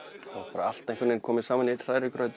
bara allt einhvern veginn komið saman í einn hrærigraut